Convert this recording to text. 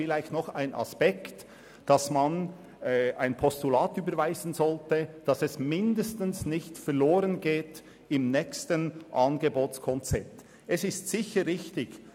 Dieser Aspekt spricht dafür, ein Postulat zu überweisen, um sicherzustellen, dass diese Überlegung mindestens im nächsten Angebotskonzept nicht verloren geht.